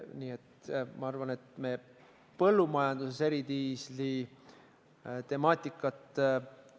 Nii et ma arvan, et me põllumajanduses eridiisli kasutamise temaatikat ei ava.